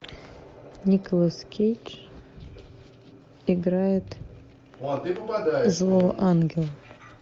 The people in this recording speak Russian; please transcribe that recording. николас кейдж играет злого ангела